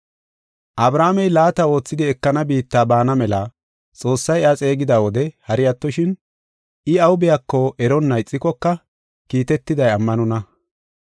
Abrahaamey laata oothidi ekana biitta baana mela Xoossay iya xeegida wode hari attoshin, I aw biyako eronna ixikoka kiitetiday ammanonna.